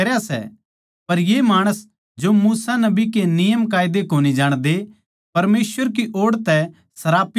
पर ये माणस जो मूसा नबी के नियमकायदे कोनी जाणदे परमेसवर की ओड़ तै सरापित सै